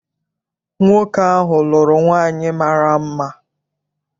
Nwoke ahụ lụrụ nwaanyị mara mma.